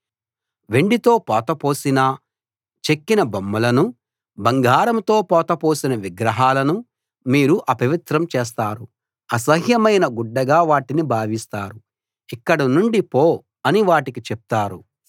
వెండితో పోత పోసిన చెక్కిన బొమ్మలనూ బంగారంతో పోత పోసిన విగ్రహాలనూ మీరు అపవిత్రం చేస్తారు అసహ్యమైన గుడ్డగా వాటిని భావిస్తారు ఇక్కడ నుండి పో అని వాటికి చెప్తారు